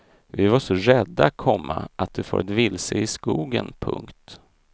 Vi var så rädda, komma att du farit vilse i skogen. punkt